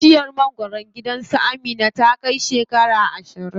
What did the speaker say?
Bishiyar mangwaron gidan su Amina ta kai shekara ashirin.